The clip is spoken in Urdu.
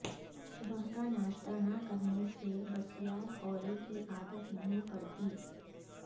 صبح کا ناشتہ نہ کرنے سے بسیار خوری کی عادت نہیں پڑتی